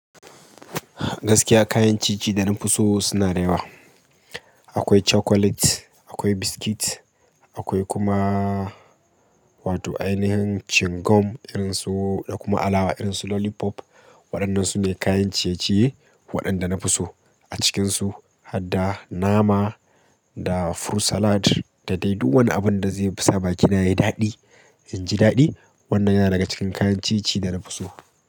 Gaskiya kayan ci-ci dana fi so suna da yawa. Akwai cakulet, akwai biskit, akwai kuma wato ainihin cingom, irin su da kuma alawa irin su lolipop. Waɗannan su ne kayan ciye-ciye, waɗanda nafi so a cikinsu. Hadda nama da furut salad, da dai duk wani abin da zai sa bakina yayi daɗi, inji daɗi. Wannan yana daga cikin kayan ci ci da na fi so.